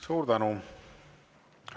Suur tänu!